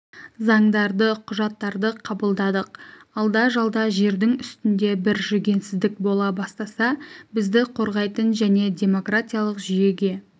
заңдарды құжаттарды қабылдадық алда-жалда жердің үстінде бір жүгенсіздік бола бастаса бізді қорғайтын және демократиялық жүйеге